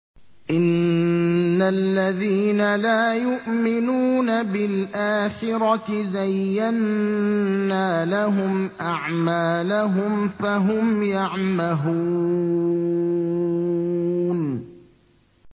إِنَّ الَّذِينَ لَا يُؤْمِنُونَ بِالْآخِرَةِ زَيَّنَّا لَهُمْ أَعْمَالَهُمْ فَهُمْ يَعْمَهُونَ